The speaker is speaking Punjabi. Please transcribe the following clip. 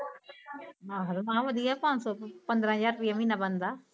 ਮਾਹਰ ਮਾ ਬੋਲੀ ਆ ਪੰਜ ਸੋ ਰੁਪਏ ਪੰਦਰਾ ਹਜਾਰ ਰੁਪੇ ਮੀਨਾ ਬੰਦਾ